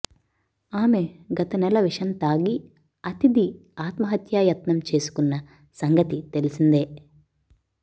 ఆమె గత నెల విషం తాగి అతిథి ఆత్మహత్యాయత్నం చేసుకున్న సంగతి తెలిసిందే